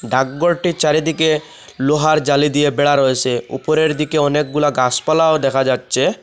ডাকঘরটির চারিদিকে লোহার জালি দিয়ে বেড়া রয়েসে উপরের দিকে অনেকগুলা গাসপালাও দেখা যাচ্ছে।